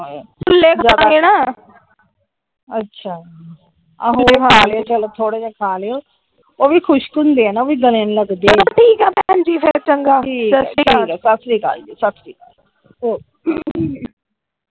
ਅੱਛਾ ਥੋੜੇ ਜਿਹੇ ਖਾ ਲਿਓ ਉਹ ਵੀ ਖੁਸ਼ਕ ਹੁੰਦੇ ਹਣਾ ਗੱਲੇ ਨੂੰ ਲਗਦੇ ਆ । ਚਲੋ ਠੀਕਾ ਭੈਣਜੀ ਫਿਰ ਚੰਗਾ । ਠੀਕ ਚੰਗਾ ।ਸਤਿ ਸ਼੍ਰੀ ਅਕਾਲ । ਸਤਿ ਸ਼੍ਰੀ ਅਕਾਲ ਜੀ ਸਤਿ ਸ਼੍ਰੀ ਅਕਾਲ ।